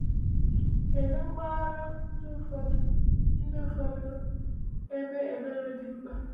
Kedu mpaghara ndụ ụfọdụ ndụ ụfọdụ ebe ebere dị mkpa?